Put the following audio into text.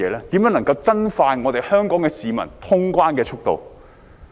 如何能夠加快香港市民通關的速度？